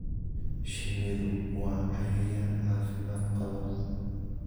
Shinnidu waa cayayaan caafimaad qaba.